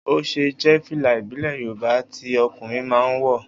Oṣé jẹ́ fìlà ìbílẹ̀ Yorùbá tí ọkùnrin máa ń wọ̀